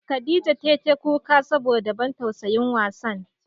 Khadijah tai ta kuka saboda ban tausayin wasan.